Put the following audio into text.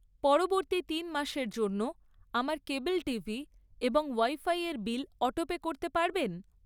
পরবর্তী তিন মাসের জন্য আমার কেবল টিভি এবং ওয়াইফাইয়ের বিল অটোপে করতে পারবেন?